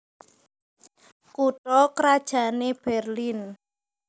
Kutha krajanné Berlin